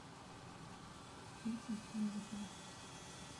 пети новикова